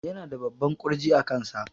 Yana da babban ƙurji a kansa